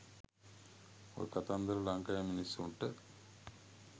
ඔය කතන්දර ලංකාවෙ මිනිස්සුන්ට